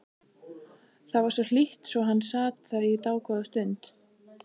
Það var hlýtt svo hann sat þar í dágóða stund.